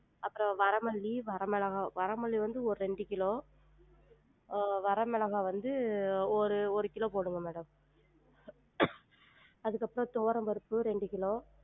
அப்றம் வரமல்லி, வரமெளகா வரமல்லி வந்து ஒரு ரெண்டு கிலோ வரமெளகா வந்து ஒரு ஒரு கிலோ போடுங்க madam அதுக்கப்றம் தொவரம்பருப்பு ரெண்டு கிலோ